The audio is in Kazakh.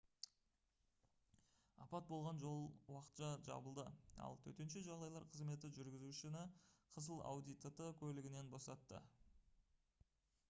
апат болған жол уақытша жабылды ал төтенше жағдайлар қызметі жүргізушіні қызыл audi tt көлігінен босатты